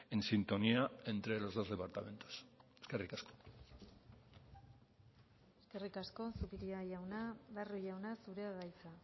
en sintonía entre los dos departamentos eskerrik asko eskerrik asko zupiria jauna barrio jauna zurea da hitza